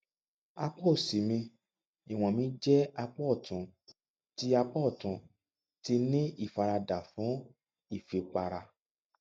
apá òsì mi ìwọn mi jẹ apá ọtún ti apá ọtún ti ní ìfaradà fún ìfipára